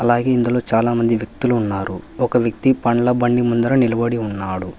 అలాగే ఇందులో చాలా మంది వ్యక్తులు ఉన్నారు ఒక వ్యక్తి పండ్ల బండి ముందర నిలబడి ఉన్నాడు.